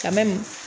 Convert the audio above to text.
Ka mɛ